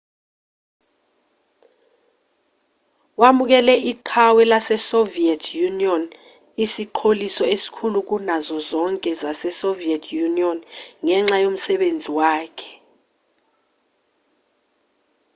wamukele iqhawe lasesoviet union isiqholiso esikhulu kunazo zonke zasesoviet union ngenxa yomsebenzi wakhe